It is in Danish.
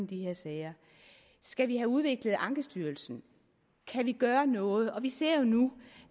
de her sager skal vi have udviklet ankestyrelsen kan vi gøre noget for vi ser jo nu